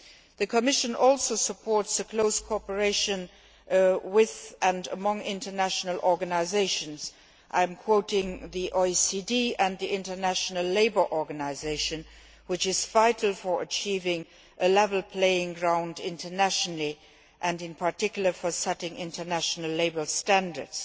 The Commission also supports close cooperation with and among international organisations, which and I am quoting the OECD and the International Labour Organisation is vital for achieving a level playing field internationally and, in particular, for setting international labour standards.